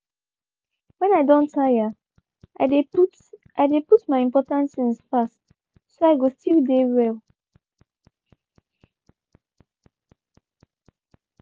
when i don tire i de put i de put my important things fast so i go still de well.